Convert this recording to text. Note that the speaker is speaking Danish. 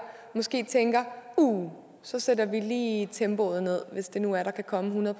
måske tænker uh så sætter vi lige tempoet ned hvis det nu er der kan komme hundrede